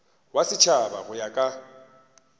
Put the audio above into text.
wa setšhaba go ya ka